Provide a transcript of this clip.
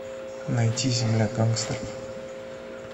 найти земля гангстеров